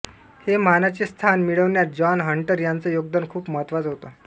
हे मानाचे स्थान मिळवण्यात जॉन हंटर यांचं योगदान खूप महत्त्वाचं होतं